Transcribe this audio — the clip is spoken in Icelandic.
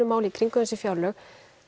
máli í kringum þessi fjárlög